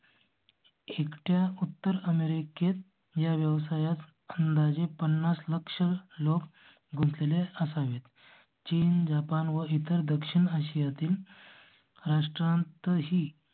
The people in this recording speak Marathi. एकट्या उत्तर अमेरिकेत या व्यवसायात खंड आजी पन्नास लाख लोक गुंत लेले असावेत. चीन, जपान व इतर दक्षिण आशिया तील. राष्ट्रांत ही